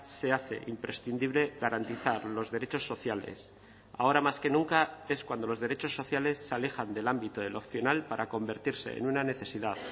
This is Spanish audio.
se hace imprescindible garantizar los derechos sociales ahora más que nunca es cuando los derechos sociales se alejan del ámbito de lo opcional para convertirse en una necesidad